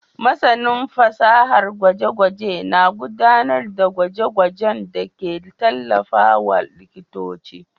Masanin fasarar gwaje-gwaje na gudanar da gwaje-gwajenda ke tallafawa likitoci.